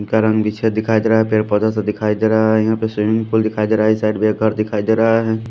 का रंग भी छेद दिखाई दे रहा है पेड़ पौधा सा दिखाई दे रहा है यहाँ पे स्विमिंग पूल दिखाई दे रहा है इस साइड एक घर दिखाई दे रहा है।